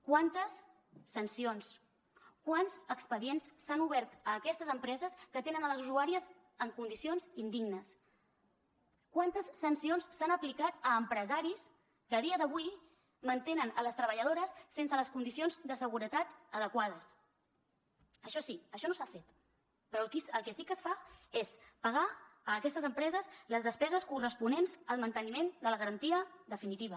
quantes sancions quants expedients s’han obert a aquestes empreses que atenen les usuàries en condicions indignes quantes sancions s’han aplicat a empresaris que a dia d’avui mantenen les treballadores sense les condicions de seguretat adequades això sí això no s’ha fet però el que sí que es fa és pagar a aquestes empreses les despeses corresponents al manteniment de la garantia definitiva